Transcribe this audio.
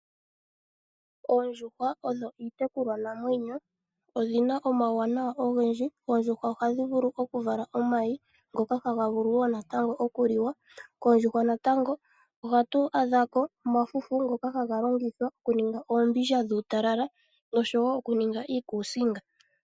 Oondjuhwa odho iitekulwa namwenyo odhina omawuwanawa ogendji. Oondjuhwa ohadhi vala omayi ngoka ha vulu wo natango oku liwa, koondjuhwa natango ohatu adhako omafufu ngoka haga longithwa oku ninga oombindja dhuutalala noshowo oku ninga iiskusinga.